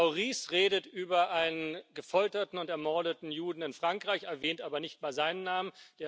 Frau Ries redet über einen gefolterten und ermordeten Juden in Frankreich, erwähnt aber nicht mal seinen Namen.